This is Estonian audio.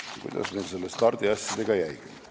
Nii, kuidas meil nende stardiasjadega jäigi?